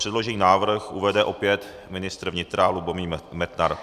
Předložený návrh uvede opět ministr vnitra Lubomír Metnar.